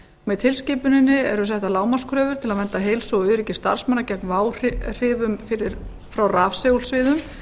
með tilskipuninni eru settar lágmarkskröfur til að vernda heilsu og öryggi starfsmanna gegn váhrifum frá rafsegulsviðum